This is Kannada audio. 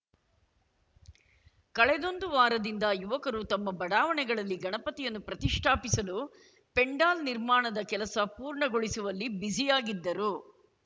ಕಳೆದೊಂದು ವಾರದಿಂದ ಯುವಕರು ತಮ್ಮ ಬಡಾವಣೆಗಳಲ್ಲಿ ಗಣಪತಿಯನ್ನು ಪ್ರತಿಷ್ಟಾಪಿಸಲು ಪೆಂಡಾಲ್‌ ನಿರ್ಮಾಣದ ಕೆಲಸ ಪೂರ್ಣಗೊಳಿಸುವಲ್ಲಿ ಬಿಜಿಯಾಗಿದ್ದರು